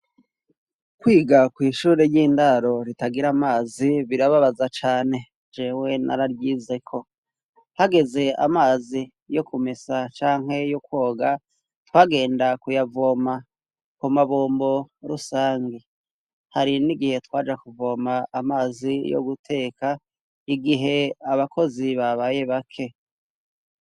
Kwiga kw' ishuri ry'indaro ritagira amazi birababaza cane, jewe nararyize ko. Hageze amazi yo kumesa canke yo kwoga twagenda kuyavoma ku mabombo rusangi, hari n'igihe twaja kuvoma amazi yo guteka, igihe abakozi babaye bake.